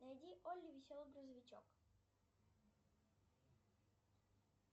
найди олли веселый грузовичок